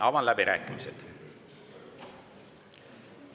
Avan läbirääkimised.